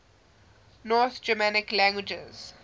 north germanic languages